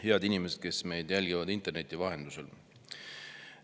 Head inimesed, kes meid jälgivad interneti vahendusel!